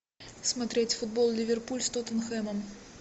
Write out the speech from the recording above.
смотреть футбол ливерпуль с тоттенхэмом